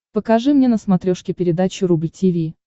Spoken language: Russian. покажи мне на смотрешке передачу рубль ти ви